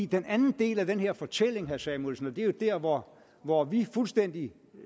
den anden del af den her fortælling herre samuelsen og det er jo der hvor hvor vi fuldstændig